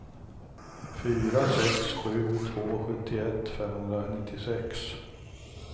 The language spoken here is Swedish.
fyra sex sju två sjuttioett femhundranittiosex